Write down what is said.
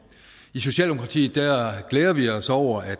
i socialdemokratiet glæder vi os over at